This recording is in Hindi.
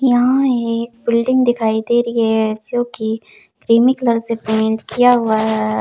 यहाँ एक बिल्डिंग दिखाई दे रही है जो कि क्रीमी कलर से पेंट किया हुआ है।